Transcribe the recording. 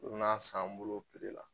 U bɛna san an bol'o piri la.